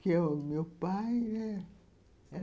que é o meu pai, né?